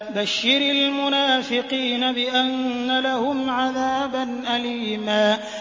بَشِّرِ الْمُنَافِقِينَ بِأَنَّ لَهُمْ عَذَابًا أَلِيمًا